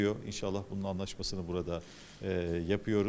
İnşallah bunun razılaşmasını burada eee edirik.